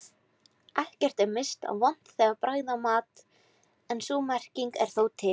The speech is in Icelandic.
Ekkert er minnst á vont bragð af mat en sú merking er þó til.